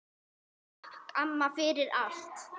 Takk, amma, fyrir allt.